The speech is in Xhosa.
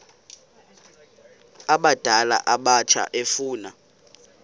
abadala abatsha efuna